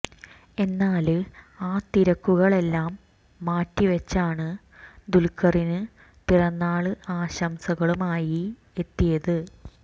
എന്നാല് ആ തിരക്കുകളെല്ലാം മാറ്റി വെച്ചാണ് ദുല്ഖറിന് പിറന്നാള് ആശംസകളുമായി എത്തിയത്